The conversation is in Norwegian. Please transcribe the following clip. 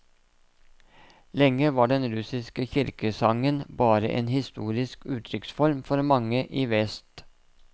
Lenge var den russiske kirkesangen bare en historisk uttrykksform for mange i vest.